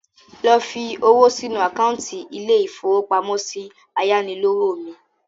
Lọ fi owó sínu àkántì ilé-ìfowópamọ́sí ayánilówó mi